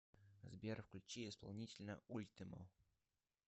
сбер включи исполнителя ультимо